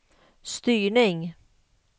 styrning